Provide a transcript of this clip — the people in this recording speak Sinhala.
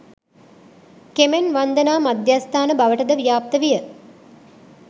කෙමෙන් වන්දනා මධ්‍යස්ථාන බවට ද ව්‍යාප්ත විය.